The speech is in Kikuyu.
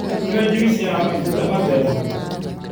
Nyua jũĩsĩ ya matunda matherũ